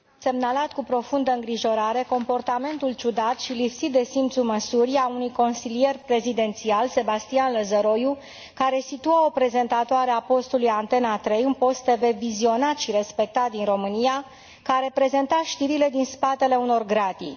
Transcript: Am semnalat cu profundă îngrijorare comportamentul ciudat și lipsit de simțul măsurii al unui consilier prezidențial, Sebastian Lăzăroiu, care a afișat o prezentatoare a postului Antena 3, un post TV vizionat și respectat din România, în poziția de a prezenta știrile din spatele unor gratii.